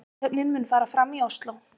Athöfnin mun fara fram í Ósló